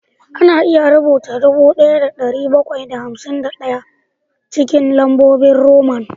Ana iya rubuta dubu ɗaya da ɗari bakwai da hamsin da ɗaya cikin lambobin Roman